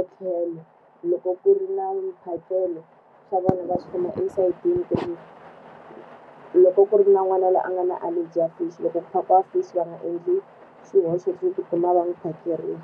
ethlelo. Loko ku ri na mphakelo swa vona va chela esayitini ku ri loko ku ri na n'wana loyi a nga na allergy ya fish loko ku phakiwa fish va nga endli xihoxo xo ti kuma va n'wi phakerile.